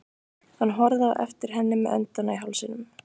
Hann horfði á eftir henni með öndina í hálsinum.